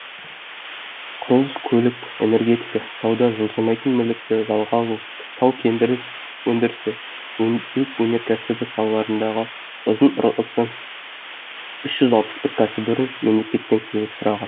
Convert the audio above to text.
құрылыс көлік энергетика сауда жылжымайтын мүлікті жалға алу тау кен өндірісі және өңдеу өнеркәсібі салаларындағы ұзын ырғысы үш жүз алпыс бір кәсіпорын мемлекеттен көмек сұраған